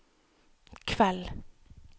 kveld